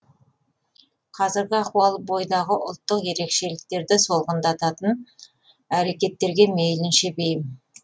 қазіргі ахуал бойдағы ұлттық ерекшеліктерді солғындататын әрекеттерге мейлінше бейім